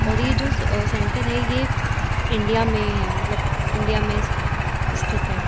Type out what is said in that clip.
और ये जो अ सेंटर है ये इंडिया में है मतलब इंडिया में स्थित है।